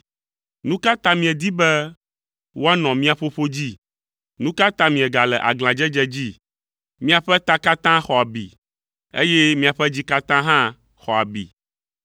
Nu ka ta miedi be woanɔ mia ƒoƒo dzi? Nu ka ta miegale aglãdzedze dzi? Miaƒe ta katã xɔ abi, eye miaƒe dzi katã hã xɔ abi.